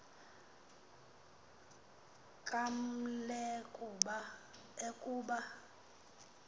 kaml e kuba